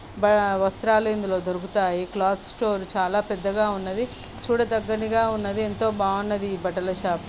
బా వస్త్రాలు ఇందులో దొరుకుతాయి. క్లాత్ స్టోర్ చాలా పెద్దగా ఉన్నది. చూడ దగనగా ఉన్నది. ఏంతో ఎంతో బాగున్నది ఈ బట్టల షాపు .